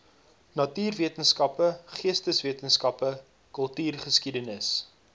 natuurwetenskappe geesteswetenskappe kultuurgeskiedenis